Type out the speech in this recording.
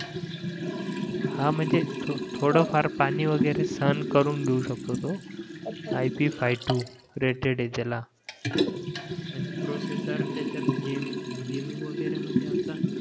हान महाजन थोडं फार पाणी वगैरे सहन करून घेऊ शकतो तो I P five two rated आहे त्याला आणि प्रोसेसर त्याच्या गमे गेमिंग वगैरे म्हणजे असं